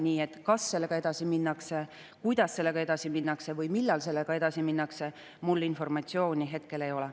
Nii et selle kohta, kas sellega edasi minnakse, kuidas sellega edasi minnakse või millal sellega edasi minnakse, mul informatsiooni hetkel ei ole.